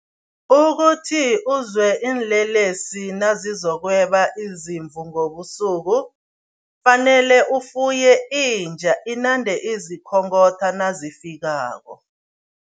Ukuthi uzwe iinlelesi nazizokweba izimvu ngobusuku, fanele ufuye inja inande izikhongotha nazifikako.